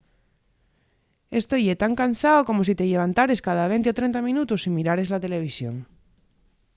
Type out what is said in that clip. esto ye tan cansao como si te llevantares cada venti o trenta minutos y mirares la televisión